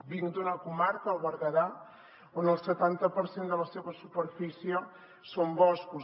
vinc d’una comarca el berguedà on el setanta per cent de la seva superfície són boscos